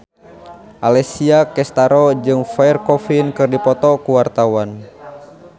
Alessia Cestaro jeung Pierre Coffin keur dipoto ku wartawan